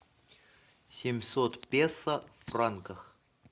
семьсот песо в франках